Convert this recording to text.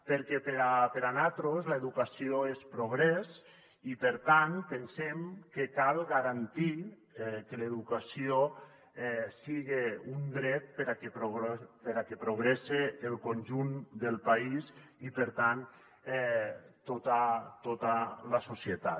perquè per a nosaltres l’educació és progrés i per tant pensem que cal garantir que l’educació siga un dret perquè progresse el conjunt del país i per tant tota la societat